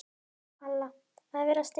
Halla: Að vera stillt.